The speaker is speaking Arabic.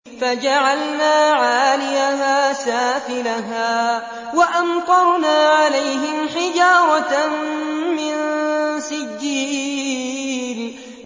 فَجَعَلْنَا عَالِيَهَا سَافِلَهَا وَأَمْطَرْنَا عَلَيْهِمْ حِجَارَةً مِّن سِجِّيلٍ